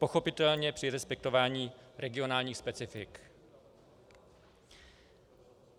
Pochopitelně při respektování regionálních specifik.